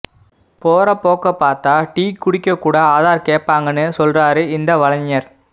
போறப்போக்க பாத்தா டீ குடிக்கக்கூட ஆதார் கேப்பாங்கன்னு சொல்றாறு இந்த வலைஞர்